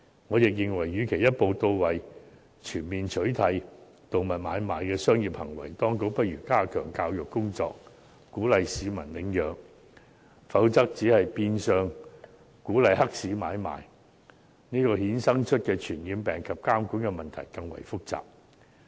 我認為與其一步到位，全面取締動物買賣的商業行為，當局不如加強教育工作，鼓勵市民領養，否則只是變相鼓勵黑市買賣，而由此衍生的傳染病及監管問題更為複雜。